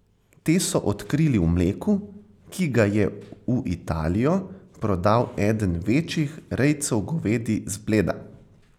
Te so odkrili v mleku, ki ga je v Italijo prodal eden večjih rejcev govedi z Bleda.